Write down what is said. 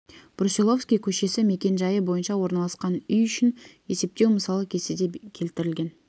брусиловский көшесі мекенжайы бойынша орналасқан үй үшін есептеу мысалы кестеде келтірілген